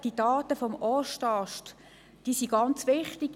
Die Daten des Ostasts sind sehr wichtig.